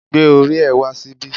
Gbé orí ẹ wá síbí